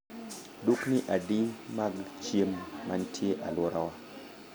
Dukni adi mag chiemo mantie e alworawa